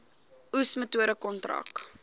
oes metode kontrak